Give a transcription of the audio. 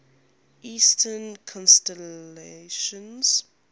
eastern constellations